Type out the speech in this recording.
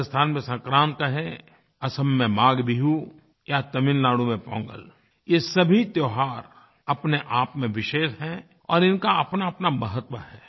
राजस्थान में संक्रांत कहें असम में माघबिहू या तमिलनाडु में पोंगल ये सभी त्योहार अपने आप में विशेष हैं और इनका अपनाअपना महत्व है